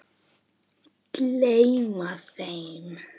Gleyma þeim.